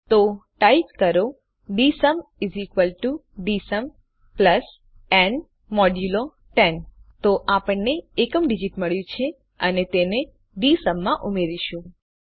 000540 000504 type કરો ડીએસયુમ ડીએસયુમ ન 10 તો આપણને એકમ ડીજીટ મળ્યું છે અને તેને ડીએસયુમ માં ઉમેરીશું